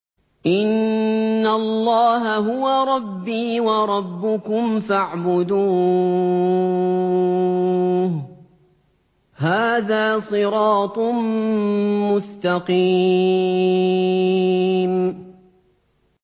إِنَّ اللَّهَ هُوَ رَبِّي وَرَبُّكُمْ فَاعْبُدُوهُ ۚ هَٰذَا صِرَاطٌ مُّسْتَقِيمٌ